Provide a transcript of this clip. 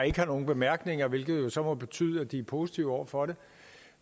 ikke har nogen bemærkninger hvilket så må betyde at de er positive over for det